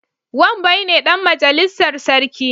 Wambai ne Dan majalissar sarki